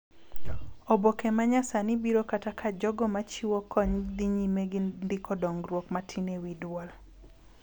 Oboke ma nyasani biro kata ka jogo ma chiwo kony dhi nyime gi ndiko dongruok matin e wi dwol